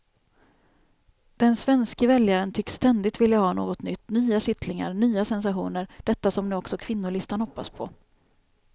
Den svenske väljaren tycks ständigt vilja ha något nytt, nya kittlingar, nya sensationer, detta som nu också kvinnolistan hoppas på.